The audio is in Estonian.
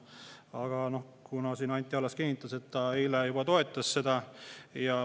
Aga noh, Anti Allas siin kinnitas, et ta eile juba toetas.